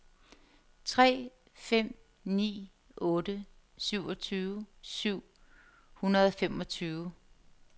tre fem ni otte syvogtyve syv hundrede og femogtyve